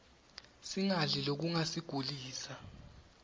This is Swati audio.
singadli lokungasiglisa